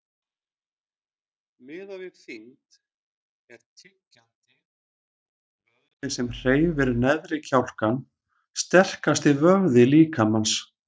Miðað við þyngd er tyggjandi, vöðvinn sem hreyfir neðri kjálkann, sterkasti vöðvi líkamans.